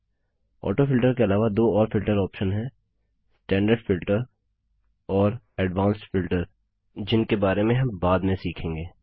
autofilter के अलावा दो और फिल्टर ऑप्शन हैं स्टैंडर्ड फिल्टर और एडवांस्ड फिल्टर जिनके बारे में हम बाद में सीखेंगे